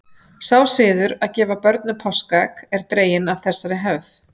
sá siður að gefa börnum páskaegg er dreginn af þessari hefð